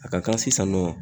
A ka kan sisan nɔ